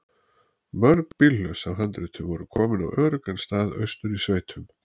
Mörg bílhlöss af handritum voru komin á öruggan stað austur í sveitum.